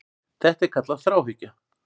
Þetta er kallað þráhyggja.